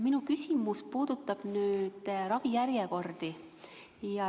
Minu küsimus puudutab ravijärjekordi.